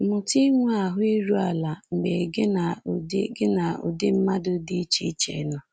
Mụta inwe ahụ́ iru ala mgbe gị na ụdị gị na ụdị mmadụ dị iche iche nọ.